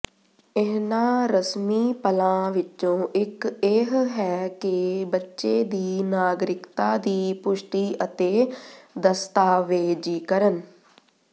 ਇਹਨਾਂ ਰਸਮੀ ਪਲਾਂ ਵਿੱਚੋਂ ਇੱਕ ਇਹ ਹੈ ਕਿ ਬੱਚੇ ਦੀ ਨਾਗਰਿਕਤਾ ਦੀ ਪੁਸ਼ਟੀ ਅਤੇ ਦਸਤਾਵੇਜ਼ੀਕਰਨ